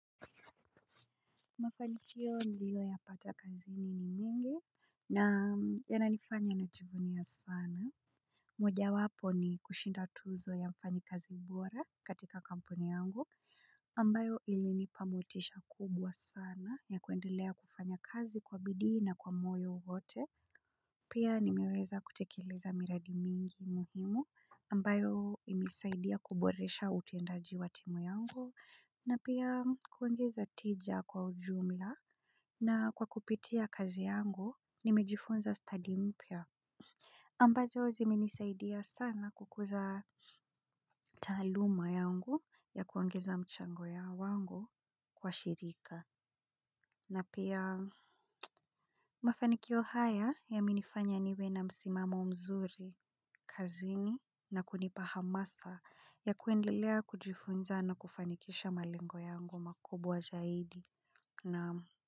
Mafanikio niliyoyapata kazini ni mingi. Na yananifanya najivunia sana. Mojawapo ni kushinda tuzo ya mfanyikazi bora katika kampuni yangu ambayo ilinipa motisha kubwa sana ya kuendelea kufanya kazi kwa bidii na kwa moyo wote. Pia nimeweza kutekeleza miradi mingi muhimu ambayo imesaidia kuboresha utendaji wa timu yangu. Na pia kuongeza tija kwa ujumla na kwa kupitia kazi yangu nimejifunza stadi mpya. Ambazo zimenisaidia sana kukuza taaluma yangu ya kuongeza mchango wangu kwa shirika. Na pia mafanikio haya yamenifanya niwe na msimamo mzuri, kazini na kunipa hamasa ya kuendelea kujifunza na kufanikisha malengo yangu makubwa zaidi. Naam.